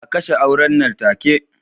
A kashe auren nan take